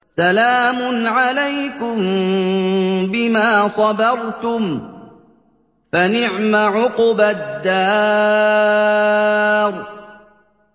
سَلَامٌ عَلَيْكُم بِمَا صَبَرْتُمْ ۚ فَنِعْمَ عُقْبَى الدَّارِ